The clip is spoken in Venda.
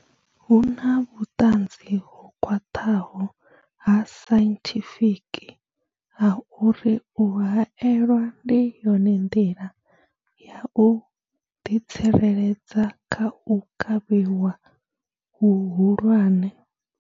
Hu na vhuṱanzi ho khwaṱhaho ha sainthifiki ha uri u haelwa ndi yone nḓila ya u ḓi tsireledza kha u kavhiwa hu hulwane.